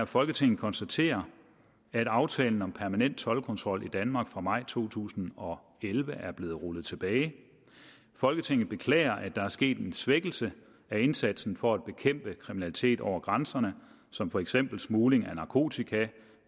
folketinget konstaterer at aftalen om permanent toldkontrol i danmark fra maj to tusind og elleve er blevet rullet tilbage folketinget beklager at der er sket en svækkelse af indsatsen for at bekæmpe kriminalitet over grænserne som for eksempel smugling af narkotika